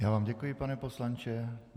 Já vám děkuji, pane poslanče.